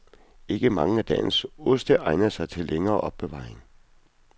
Ikke mange af dagens oste egner sig til længere opbevaring.